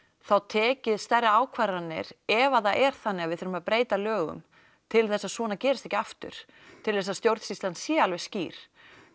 þá tekið stærri ákvarðanir ef að það er þannig að við þurfum að breyta lögum til þess að svona gerist ekki aftur til þess að stjórnsýslan sé alveg skýr